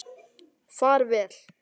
Far vel.